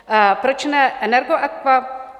Proč ne Energoaqua?